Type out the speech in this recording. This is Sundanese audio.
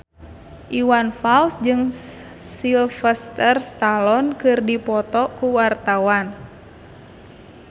Iwan Fals jeung Sylvester Stallone keur dipoto ku wartawan